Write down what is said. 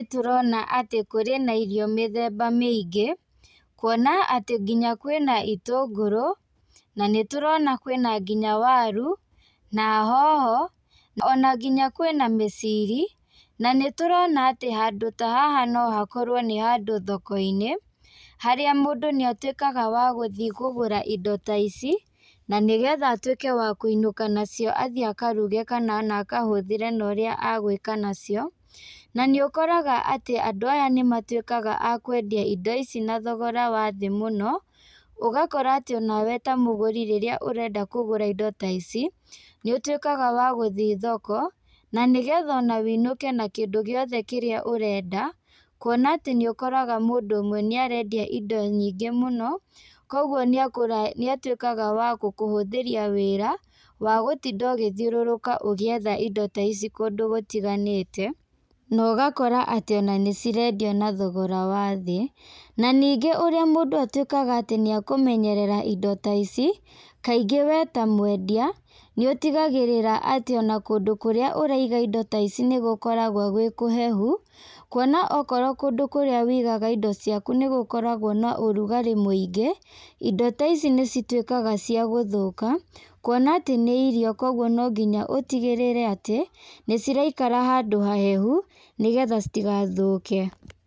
Nĩtũrona atĩ kũrĩ na irio mĩthemba mĩingĩ, kuona atĩ nginya kwĩna itũngũrũ, na nĩtũrona kwĩna nginya waru, na hoho, ona nginya kwĩna mĩciri, na nĩtũrona atĩ handũ ta haha nohakorwo nĩhandũ thokoinĩ, harĩa mũndũ nĩatuĩkaga wa gũthi kũgũra indo ta ici, na nĩgetha atuĩke wa kuinũka nacio athĩ akaruga kana ona akahũthĩre na ũrĩa agwĩka nacio, na nĩũkoraga atĩ andũ aya nĩmatuĩkaga a kwendia indo ici na thogora wa thĩ mũno, ũgakora atĩ onawe ta mũgũri rĩrĩa ũrenda kũgũra indo ta ici, nĩũtuĩkaga wa gũthiĩ thoko, na nĩgetha ona wĩinũke na kindũ gĩothe kĩrĩa ũrenda, kuona atĩ nĩũkoraga mũndũ ũmwe nĩarendia indo nyingi mũno, koguo nĩatuĩkaga wa gũkũhũthĩria wĩra, wagũtinda ũgĩthiũrũrũka ũgĩetha indo ta ici kũndũ gũtiganĩte, na ũgakora atĩ ona nĩcirendio na thogora wa thĩ, na ningĩ ũrĩa mũndũ atuĩkaga atĩ nĩakũmenyerera indo ta ici, kaingĩ we ta mwendia, nĩũtigagĩrĩra atĩ ona kũndũ kũrĩa ũraiga indo ta ici nĩgũkoragwo gwĩ kũhehu, kuona okorwo kũndũ kũrĩa wĩigaga indo ciaku nĩgũkoragwo na ũrugarĩ mũingĩ, indo ta ici nĩcituĩkaga cia gũthũka, kuona atĩ nĩ irio koguo nonginya ũtigĩrĩre atĩ nĩciraikara handũ hahehu, nĩgetha citigathũke.